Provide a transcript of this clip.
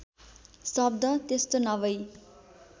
शब्द त्यस्तो नभई